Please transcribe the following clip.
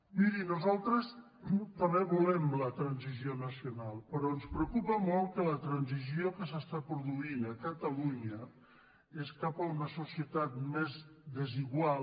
miri nosaltres també volem la transició nacional pe·rò ens preocupa molt que la transició que s’està pro·duint a catalunya és cap a una societat més desigual